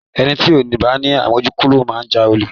Ẹni ti kò bá ni àmójúkúrò máa jalè.